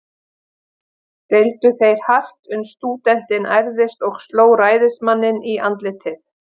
Deildu þeir hart, uns stúdentinn ærðist og sló ræðismanninn í andlitið.